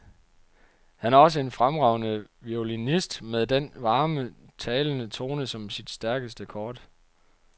Han er også en fremragende violinist med den varme, talende tone som sit stærkeste kort.